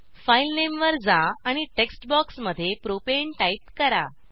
file नामे वर जा आणि टेक्स्ट बॉक्समध्ये प्रोपाने टाईप करा